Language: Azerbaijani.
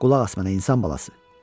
Qulaq as mənə insan balası.